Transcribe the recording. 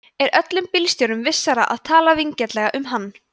er öllum bílstjórum vissara að tala vinsamlega um hann